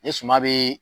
Ni suma bɛ